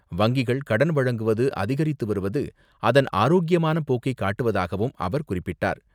வங்கிகள் கடன் வழங்குவது அதிகரித்து வருவது அதன் ஆரோக்கியமான போக்கை காட்டுவதாகவும் அவர் குறிப்பிட்டார்.